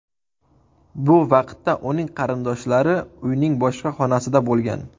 Bu vaqtda uning qarindoshlari uyning boshqa xonasida bo‘lgan.